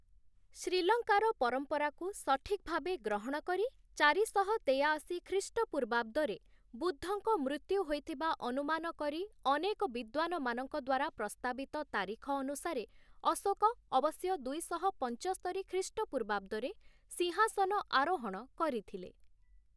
ଶ୍ରୀଲଙ୍କାର ପରମ୍ପରାକୁ ସଠିକ୍‌ ଭାବେ ଗ୍ରହଣ କରି ଚାରିଶହ ତେୟାଅଶୀ ଖ୍ରୀଷ୍ଟପୂର୍ବାବ୍ଦରେ ବୁଦ୍ଧଙ୍କ ମୃତ୍ୟୁ ହୋଇଥିବା ଅନୁମାନ କରି, ଅନେକ ବିଦ୍ୱାନମାନଙ୍କ ଦ୍ୱାରା ପ୍ରସ୍ତାବିତ ତାରିଖ ଅନୁସାରେ, ଅଶୋକ ଅବଶ୍ୟ ଦୁଇଶହ ପଞ୍ଚସ୍ତରି ଖ୍ରୀଷ୍ଟପୂର୍ବାବ୍ଦରେ ସିଂହାସନ ଆରୋହଣ କରିଥିଲେ ।